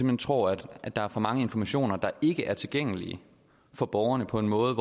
hen tror at der er for mange informationer der ikke er tilgængelige for borgerne på en måde